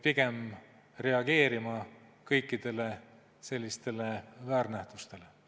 Pigem reageerime kõikidele sellistele väärnähtustele.